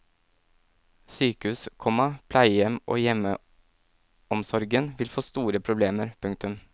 Sykehus, komma pleiehjem og hjemmeomsorgen vil få store problemer. punktum